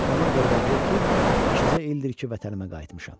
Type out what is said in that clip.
Ona görə də vuru-tut ikicə ildir ki, vətənimə qayıtmışam.